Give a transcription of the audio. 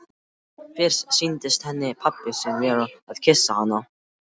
Fyrst sýndist henni pabbi sinn vera að kyssa hana.